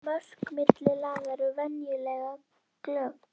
Mörk milli laga eru venjulega glögg.